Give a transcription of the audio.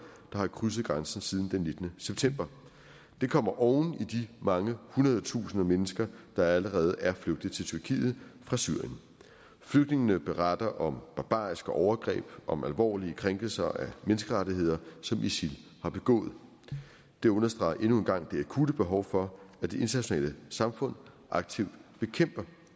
der har krydset grænsen siden den nittende september det kommer oven i de mange hundrede tusinde mennesker der allerede er flygtet til tyrkiet fra syrien flygtningene beretter om barbariske overgreb om alvorlige krænkelser af menneskerettigheder som isil har begået det understreger endnu en gang det akutte behov for at det internationale samfund aktivt bekæmper